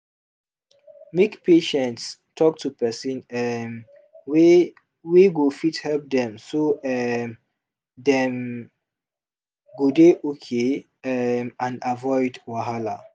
make patients talk to person um wey wey go fit help dem so um dem go dey okay um and avoid wahala